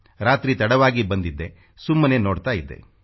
ರಾತ್ರಿ ತಡವಾಗಿ ಬಂದಿದ್ದೆ ಸುಮ್ಮನೇ ನೋಡ್ತಾ ಇದ್ದೆ